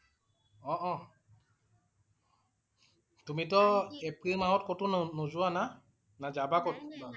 অ' অ' তুমি টো এপ্ৰিল মাহত কতো নো নোযোৱা না? না যাবা কৰবাত?